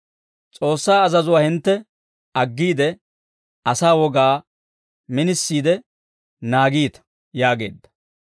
«S'oossaa azazuwaa hintte aggiide, asaa wogaa minisiide naagiita» yaageedda.